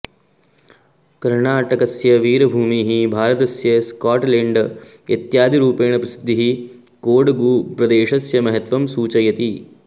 कर्णाटकस्य वीरभूमिः भारतस्य स्काट्लैण्ड् इत्यादिरूपेण प्रसिद्धिः कोडगुप्रदेशस्य महत्त्वं सूचयति